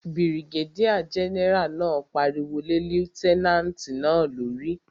Birigédíà gẹ́nẹ́rà náà pariwo lé lútẹ́nàtì náà lórí